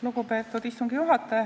Lugupeetud istungi juhataja!